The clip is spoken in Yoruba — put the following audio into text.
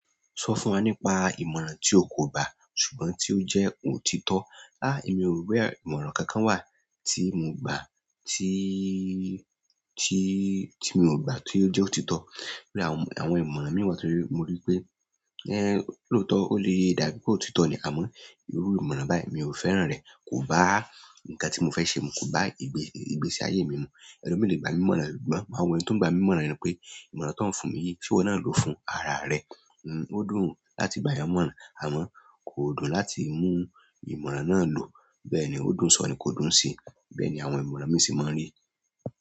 Sọ fún wa nípa ìmọ̀ràn tí o kò gbá ṣùgbọ́n tí ó jẹ́ ó ti tọ́. Háà, èmi ò rí ìmọ̀ràn kankan wà tí mo gbà tí, tí, tí mi ò gbà tí ó jẹ́ ó ti tọ́. Àwọn ìmọ̀ràn mi wá torí mo rí pé, ẹ n lóótọ́, ó lè dàbí pé ó ti tọ́ ni, àmọ́ irú ìmọ̀ràn báyìí mi ò fẹ́ràn rẹ̀, kò bá nǹkan tí mo fẹ́ ṣe mu, kò bá ìgbésí ayé mi mu. Ẹlo mi lè gba mi ni ìmọ̀ràn ṣùgbọ́n máa wo ení, tó ń gba mi mọ̀ràn ni pé ìmọ̀ràn tó ń fún mi yìí ṣe iwo na lò fún ara rẹ? Ó dùn láti gba èèyàn ní ìmọ̀ràn, àmọ́ o kò dùn láti mú ìmọ̀ràn náà lò. Bẹ́ẹ̀ni ó dùn so ni kò dùún se. Bẹ́ẹ̀ni àwọn ìmọ̀ràn míì se máa n rí.